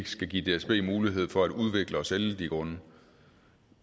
skal give dsb mulighed for at udvikle og sælge de grunde